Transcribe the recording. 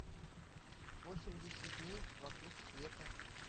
восемьдесят дней вокруг света